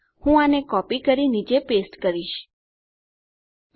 હું આને કોપી કરી નીચે પેસ્ટ કરું